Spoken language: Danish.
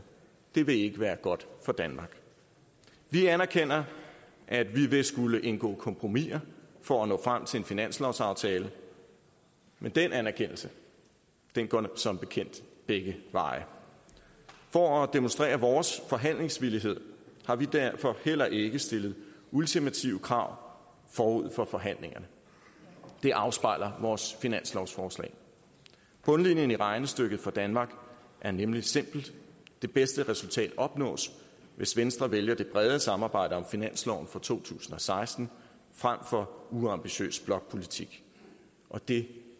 det vil ikke være godt for danmark vi anerkender at vi vil skulle indgå kompromiser for at nå frem til en finanslovsaftale men den anerkendelse går som bekendt begge veje for at demonstrere vores forhandlingsvillighed har vi derfor heller ikke stillet ultimative krav forud for forhandlingerne det afspejler vores finanslovsforslag bundlinjen i regnestykket for danmark er nemlig simpel det bedste resultat opnås hvis venstre vælger det brede samarbejde om finansloven for to tusind og seksten frem for uambitiøs blokpolitik det